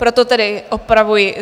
Proto tedy opravuji.